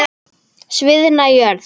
Sviðna jörð?